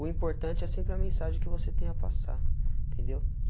O importante é sempre a mensagem que você tem a passar, entendeu?